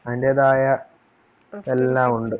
അയിന്റേതായ എല്ലാമുണ്ട്